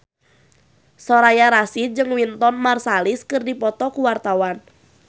Soraya Rasyid jeung Wynton Marsalis keur dipoto ku wartawan